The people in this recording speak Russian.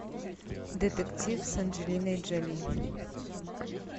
детектив с анджелиной джоли